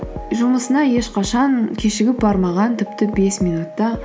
жұмысына ешқашан кешігіп бармаған тіпті бес минут та